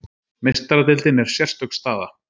Meistaradeildin er sérstök staða.